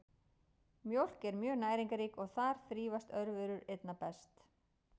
Mjólk er mjög næringarrík og þar þrífast örverur einna best.